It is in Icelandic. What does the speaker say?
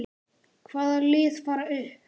Hvaða lið fara upp?